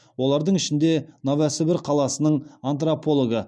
олардың ішінде новосібір қаласының антропологы